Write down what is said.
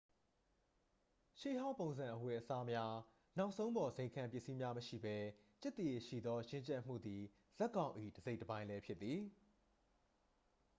ရှေ့ဟောင်းပုံစံအဝတ်စားများ နောက်ဆုံးပေါ်ဇိမ်ခံပစ္စည်းများမရှိပဲ ကျက်သရေရှိသော ရင့်ကျက်မှုသည် ဇာတ်ကောင်၏ တစိတ်တပိုင်းလဲဖြစ်သည်